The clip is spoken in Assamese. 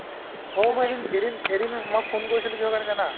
অ, মই এদিন এদিন এদিন মই ফোন কৰিছিলো কিহৰ কাৰণে জানা ?